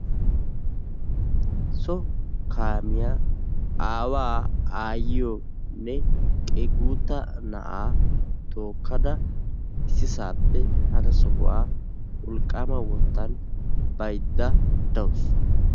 So kaamiya aawaa, aayyiyonne guutta na'aa tookkada issisaappe hara sohuwa wolqqaama wottan bayidda dawusu.